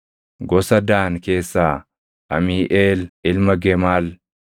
gosa Daan keessaa Amiiʼeel ilma Gemaal;